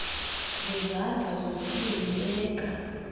ngezandla zozibini beka